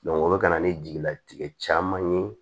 o bɛ ka na ni jigilatigɛ caman ye